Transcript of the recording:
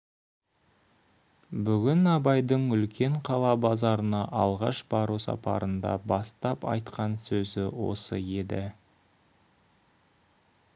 бүгін абайдың үлкен қала базарына алғаш бару сапарында бастап айтқан сөзі осы еді